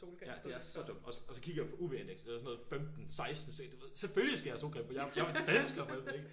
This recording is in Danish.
Ja det er så dumt og og så kigger jeg på UV indekset det var sådan noget 15 16 så du ved selvfølgelig skal jeg have solcreme på jeg jo jeg jo dansker for helvede ikke